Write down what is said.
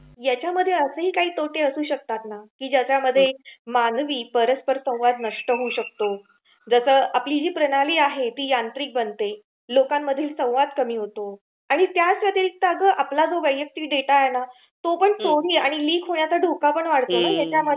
यांच्यामध्ये असेही काही तोटे असू शकतात ना की मानवी परस्पर संवाद नष्ट होऊ शकतो, जस आपली जी प्रणाली आहे ती यांत्रिक बनते, लोकांमधील संवाद कमी होतो, आणि त्याच व्यतिरिक्त आपला जो वैयक्तिक डेटा आहे ना तो लिक होण्याचा धोका पण वाढतो ना याच्यामध्ये?